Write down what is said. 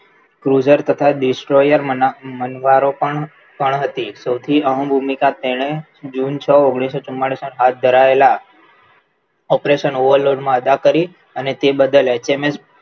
Cruiser તથા મનવારો પણ હતી સૌથી અહમ ભૂમિકા તેણે જુન છ ઓગણીસો ચુમ્માલીસ માં હાથ ધરાયેલા operation overload માં અદા કરી અને તે બદલ એચએમએસ